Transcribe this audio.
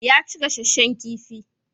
Ya ci gasasshen kifi.